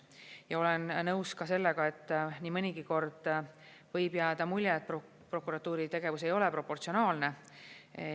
Ja olen nõus ka sellega, et nii mõnigi kord võib jääda mulje, et prokuratuuri tegevus ei ole proportsionaalne.